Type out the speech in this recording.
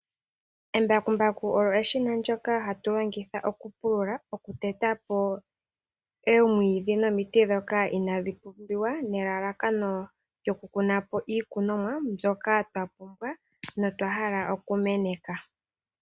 Embakumbaku olyo eshina ndyoka hatu longitha oku pulula, oku teta po oomwiidhi nomiti dhoka inaadhi pumbiwa. Nelalakano lyoku kuna po iikunomwa mbyoka twa pumbwa notwa hala oku meneka.